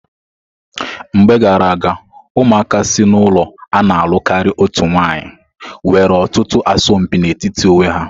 Mgbe gara aga, ụmụaka si n'ụlọ a na-alụ karịa otu nwanyị nwere ọtụtụ asọmpi n'etiti onwe ha.